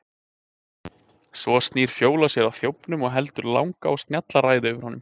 Svo snýr Fjóla sér að þjófnum og heldur langa og snjalla ræðu yfir honum.